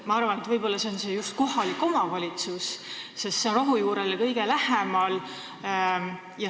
Ma arvan, et võib-olla on see just kohalik omavalitsus, sest see on rohujuurele kõige lähemal.